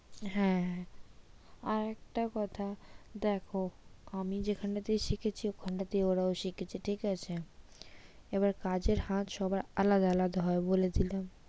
হ্যাঁ আর একটা কথা দেখো আমি যেখান থেকে শিখেছি ওখানে ওরাও শিখেছে ঠিক আছে? এবার কাজের হাত সবার আলাদা আলাদা হবে বলে দিলাম।